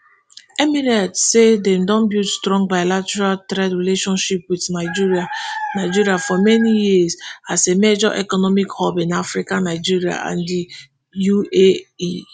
emirates say dem don build strong bilateral trade relations wit nigeria nigeria for many years as a major economic hub in africa nigeria and di uae